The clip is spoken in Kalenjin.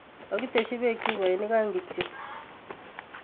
Kokiteshi beek chupoinik aeng kityo